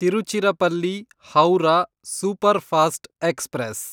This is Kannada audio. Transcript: Tiruchirappalli Howrah superfast express